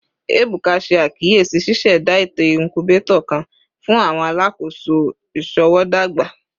Ebuka ṣe akiyesi ṣiṣẹda eto incubator kan fun awọn alakoso iṣowo dagba